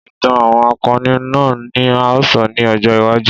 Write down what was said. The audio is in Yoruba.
Ìtàn àwọn akọni náà ni a ó sọ ní ọjọ́ iwájú.